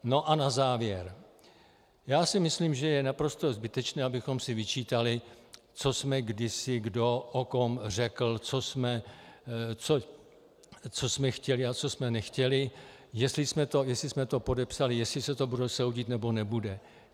No a na závěr - já si myslím, že je naprosto zbytečné, abychom si vyčítali, co jsme kdysi kdo o kom řekl, co jsme chtěli a co jsme nechtěli, jestli jsme to podepsali, jestli se to bude soudit, nebo nebude.